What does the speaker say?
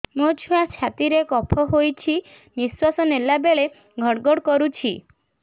ମୋ ଛୁଆ ଛାତି ରେ କଫ ହୋଇଛି ନିଶ୍ୱାସ ନେଲା ବେଳେ ଘଡ ଘଡ କରୁଛି